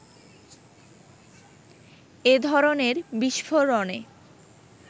এ ধরনের বিস্ফোরণে